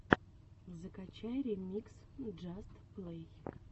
закачай ремикс джаст плэй